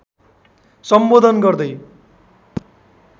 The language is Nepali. सम्बोधन गर्दै